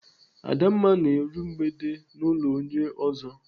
Adamma na-eru mgbede n'ụlọ onye ọzọ.